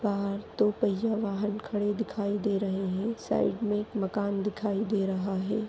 बाहर दो पैया वाहन खडे दिखाई दे रहे है साइड में एक मकान दिखाई दे रहा है।